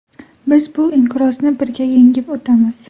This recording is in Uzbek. Biz bu inqirozni birga yengib o‘tamiz.